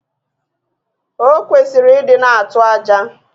Okwesiri idi na atu aja